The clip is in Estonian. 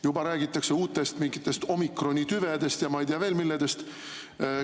Juba räägitakse mingitest uutest omikrontüvedest ja ei tea veel millest.